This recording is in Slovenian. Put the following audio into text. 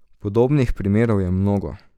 Podobnih primerov je mnogo.